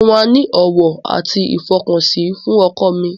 Mo máa ní ọ̀wọ̀ àti ìfọkànsìn fún ọkọ mi.